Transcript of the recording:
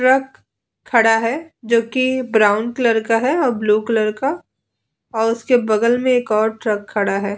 Truck खड़ा है। जोकि ब्राउन कलर का है और ब्लू कलर का और उसके बगल में एक और ट्रक खड़ा है ।